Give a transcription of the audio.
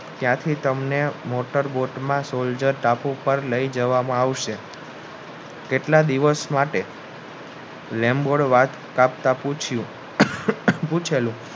ત્યાંથી તમને motor boat માં સોલ્જર ટાપુ પર પાર લાય જવામાં આવશે કેટલા દિવસ માટે વેમબોલા વાતમાં પૂછ્યું પૂછેલું